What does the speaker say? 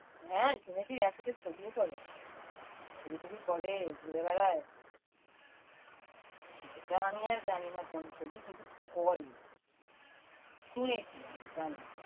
হ্যাঁ শুনেছি একসাথে ছবিও করে। ছবি টবি করে, ঘুরে বেড়ায়। সেটা আমি আর জানি না কোন ছবি কিন্তু করে। শুনেছি আমি জানি না।